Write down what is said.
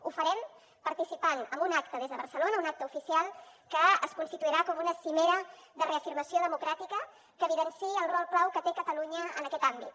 ho farem participant en un acte des de barcelona un acte oficial que es constituirà com una cimera de reafirmació democràtica que evidenciï el rol clau que té catalunya en aquest àmbit